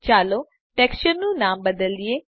ચાલો ટેક્સચરનું નામ બદલીએ